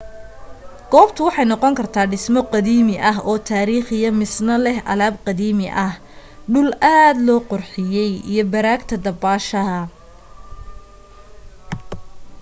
goobta waxa ay noqon kartaa dhismo qadiimi oo taarikhiya misna leh alaab qadiimi ah dhul aad loo qurxiyey iyo baraagta dabaasha